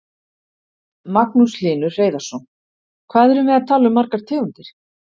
Magnús Hlynur Hreiðarsson: Hvað erum við að tala um margar tegundir?